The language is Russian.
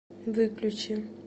выключи